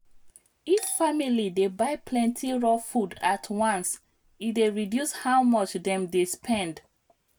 if family dey buy plenty raw food at once e dey reduce how much dem dey spend.